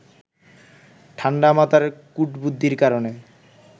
ঠাণ্ডা মাথার কূটবুদ্ধির কারণে